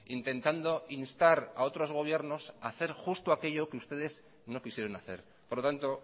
intentando instar aotros gobiernos a hacer justo a aquello que ustedes no quisieron hacer por lo tanto